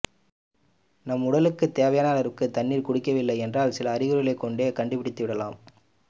நம் உடலுக்கு தேவையான அளவிற்கு தண்ணீர் குடிக்கவில்லை என்றால் சில அறிகுறிகளைக் கொண்டே கண்டுபிடித்துவிடலாம்